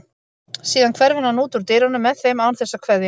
Síðan hverfur hann út úr dyrunum með þeim án þess að kveðja.